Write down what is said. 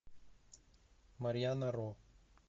марьяна ро